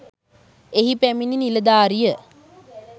එහි පැමිණි නිලධාරිය